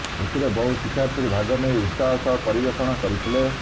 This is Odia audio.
ଏଥିରେ ବହୁ ଶିକ୍ଷାର୍ଥୀ ଭାଗ ନେଇ ଉତ୍ସାହ ସହ ପରିବେଷଣ କରିଥିଲେ